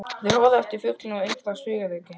Þeir horfa á eftir fuglinum og undrast hugrekki hans.